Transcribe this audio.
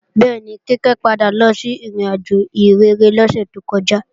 Bẹ́ẹ̀ni, Kíkẹ́ padà lọ sí ìrìnàjò ìhìnrere lọ́sẹ̀ tó kọjá